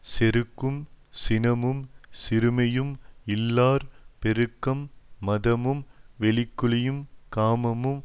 செருக்கும் சினமும் சிறுமையும் இல்லார் பெருக்கம் மதமும் வெகுளியும் காமமும்